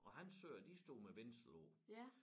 Og hans søer de stod med bindsel på